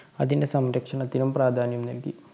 അതിന്റെ സംരക്ഷണത്തിനും പ്രാധാന്യം നല്‍കി.